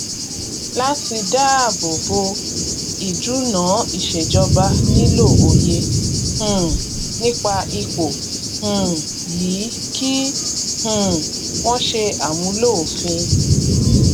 láti dáábò bo ìdúnàá ìṣejọba nílò òye um nípa ipò um yìí kí um wọn ṣe àmúlò òfin